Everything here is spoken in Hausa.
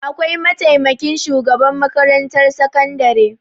Akwai mataimakin shugaban makarantar sakandare.